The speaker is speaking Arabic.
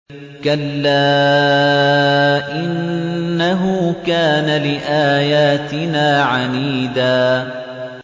كَلَّا ۖ إِنَّهُ كَانَ لِآيَاتِنَا عَنِيدًا